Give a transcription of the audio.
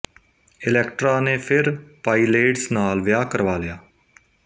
Electra ਨੇ ਫਿਰ Pylades ਨਾਲ ਵਿਆਹ ਕਰਵਾ ਲਿਆ